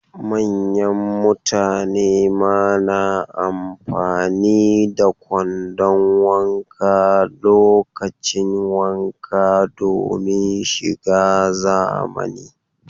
Manyan mutane ma na amfani da kwandon wanka lokacin wanka domin shiga zamani